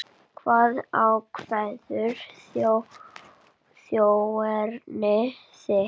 Hvað ákveður þjóðerni þitt?